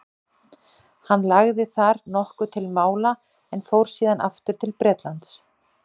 hann lagði þar nokkuð til mála en fór síðan aftur til bretlands